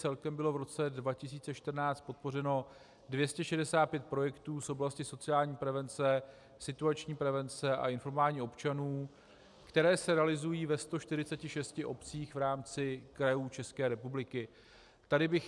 Celkem bylo v roce 2014 podpořeno 265 projektů z oblasti sociální prevence, situační prevence a informování občanů, které se realizují ve 146 obcích v rámci krajů České republiky.